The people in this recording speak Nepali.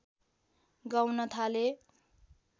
गाउन थाले